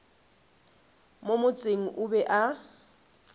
mo motseng o be a